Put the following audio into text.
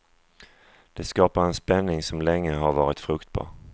Det skapar en spänning som länge har varit fruktbar.